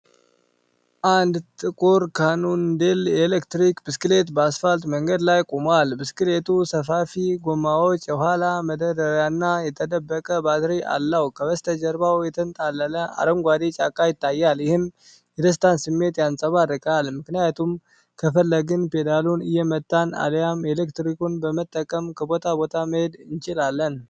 አንድ ጥቁር ካኖንዴል የኤሌክትሪክ ብስክሌት በአስፋልት መንገድ ላይ ቆሟል። ብስክሌቱ ሰፋፊ ጎማዎች፣ የኋላ መደርደሪያና የተደበቀ ባትሪ አለው። ከበስተጀርባ የተንጣለለ አረንጓዴ ጫካ ይታያል፤ ይህም የደስታን ስሜትን ያንጸባርቃል። ምክንያቱም ከፈለግን ፔዳሉን እየመታን አልያም ኤሌክትሪኩን በመጠቀም ከቦታ ቦታ መሄድ እንችላለን።